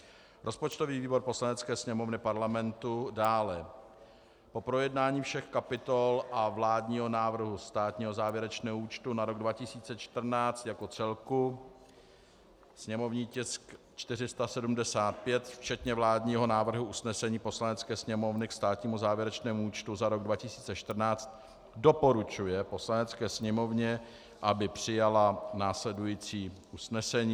Rozpočtový výbor Poslanecké sněmovny Parlamentu dále po projednání všech kapitol a vládního návrhu státního závěrečného účtu za rok 2014 jako celku (sněmovní tisk 475) včetně vládního návrhu usnesení Poslanecké sněmovny k státnímu závěrečnému účtu za rok 2014 doporučuje Poslanecké sněmovně, aby přijala následující usnesení: